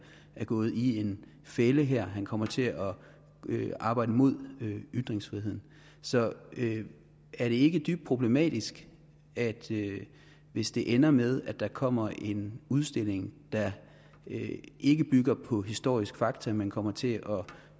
er gået i en fælde her og at han kommer til at arbejde imod ytringsfriheden er det ikke dybt problematisk hvis det ender med at der kommer en udstilling der ikke bygger på historiske fakta men kommer til at